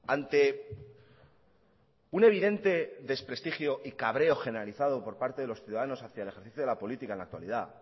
ante un evidente desprestigio y cabreo generalizado por parte de los ciudadanos hacia el ejercicio de la política en la actualidad